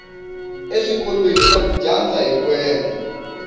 eswikolweni va dyandza hiku endla